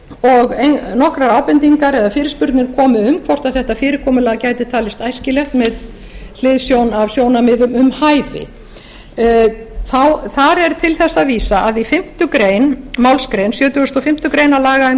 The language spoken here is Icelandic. og nokkrar ábendingar eða fyrirspurnir komu um hvort þetta fyrirtæki gæti talist æskilegt með hliðsjón af sjónarmiðum um hæfi þar er til þess að vísa að í fimmta málsgrein sjötugustu og fimmtu grein laga um